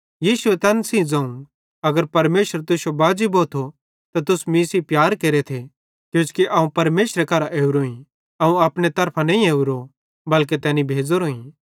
यीशुए तैन सेइं ज़ोवं अगर परमेशर तुश्शो बाजी भोथो त तुस मीं सेइं प्यार केरेथ किजोकि अवं परमेशरेरे करां ओरोईं अवं अपने तरफां नईं ओरो बल्के तैनी भेज़ोरोईं